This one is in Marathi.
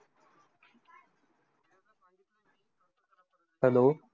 Hello